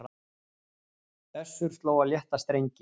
Össur sló á létta strengi